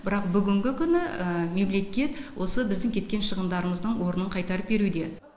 бірақ бүгінгі күні мемлекет осы біздің кеткен шығындарымыздың орнын қайтарып беруде